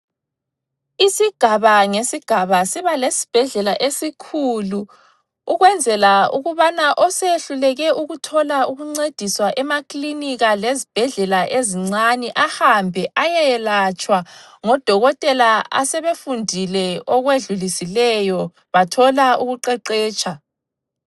Isigaba ngesigaba sibalesibhedlela esikhulu, ukwenzela ukubana osehluleke ukuthola ukuncediswa emakilinika lezibhedlela ezincane, ahambe ayeyelatshwa ngodokotela asebefundile okwedlulisileyo bathola ukuqeqetsha.